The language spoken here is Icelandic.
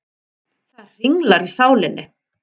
Það hringlar í sálinni.